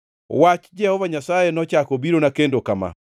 Wach Jehova Nyasaye nochako obirona kendo kama: